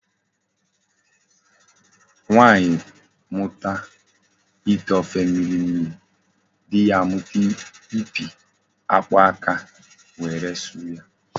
Nwaanyi muta ite ofe mmiri mmiri, di ya amuta ipi akpu aka were suru ya